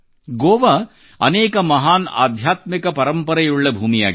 ಗೋವಾ ಅನೇಕ ಮಹಾನ್ ಆಧ್ಯಾತ್ಮಿಕ ಪರಂಪರೆಯುಳ್ಳ ಭೂಮಿಯಾಗಿದೆ